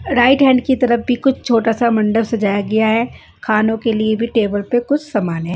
Right hand की तरफ भी कुछ छोटा सा मंडप सजाया गया है खाने के लिए भी कुछ समान है।